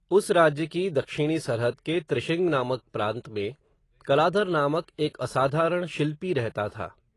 उस राज्य की, दक्षिणी सरहद के, त्रिशृंग नामक प्रांत में, कलाधर नामक, एक असाधारण शिल्पी रहता था